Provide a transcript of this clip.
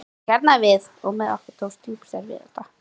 Hún hjarnaði við og með okkur tókst djúpstæð vinátta.